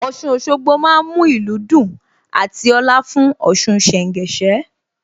Ọ̀ṣun Òṣogbo má ń mú ìlú dùn àti ọ̀la fún Ọ̀ṣun ṣẹ̀ńgẹṣẹ́